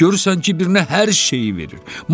Görürsən ki, birinə hər şeyi verir.